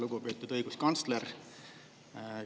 Lugupeetud õiguskantsler!